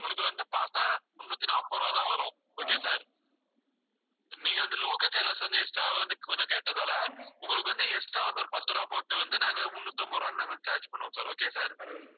உங்களுக்கு வந்து பார்த்தா முன்னூத்தி நாற்பது ரூபாய்தான் வரும். okay sir நீங்க வந்து local channels வந்து extra வா வந்து கொஞ்சம் கேட்டதால உங்களுக்கு வந்து extra வந்து ஒரு பத்து ரூபாய் போட்டு வந்து நாங்க முன்னூத்தி ஐம்பது ரூபாய்ன்னு நாங்க வந்து, charge பண்ணுவோம் okay sir